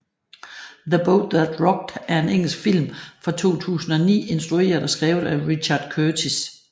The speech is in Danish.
The Boat That Rocked er en engelsk film fra 2009 instrueret og skrevet af Richard Curtis